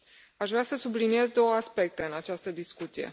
Aș vrea să subliniez două aspecte în această discuție.